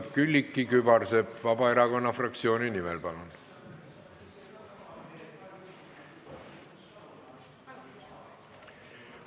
Külliki Kübarsepp Vabaerakonna fraktsiooni nimel, palun!